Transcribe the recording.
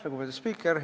Lugupeetud spiiker!